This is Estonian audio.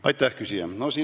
Aitäh, küsija!